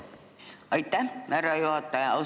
Aitäh, härra juhataja!